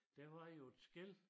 Der var jo et skel